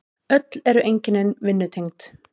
Öll eru einkennin vinnutengd.